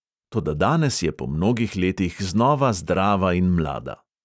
Toda danes je po mnogih letih znova zdrava in mlada.